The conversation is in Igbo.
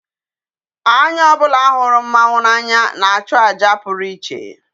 Anya obula huru mmanwu n'anya na-achu aja puru iche.